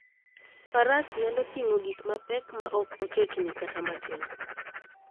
Faras nyalo ting'o gik mapek maok ochochni kata matin.